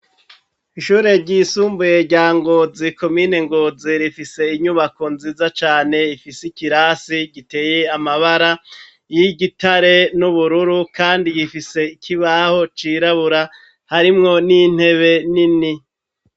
Ishure ryisumbuye rya Ngozi komine Ngozi rifise inyubako nziza cane ifise ikirase giteye amabara y'igitare n'ubururu, kandi gifise ikibaho cirabura harimwo n'intebe nini.